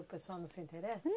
O pessoal não se interessa?